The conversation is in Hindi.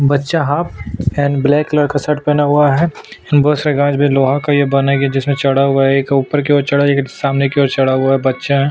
बच्चा हाफ एंड ब्लैक का शर्ट पहना हुआ है बहुत से लोहा का बनाया हुआ है जिसमे चढ़ा हुआ है एक ऊपर की और चढ़ा हुआ है और एक सामने की ओर चढ़ा हुआ है बच्चा है।